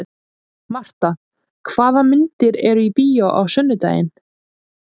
Marta, hvaða myndir eru í bíó á sunnudaginn?